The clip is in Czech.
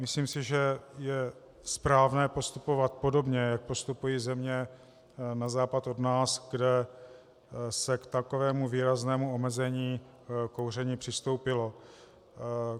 Myslím si, že je správné postupovat podobně, jak postupují země na západ od nás, kde se k takovému výraznému omezení kouření přistoupilo.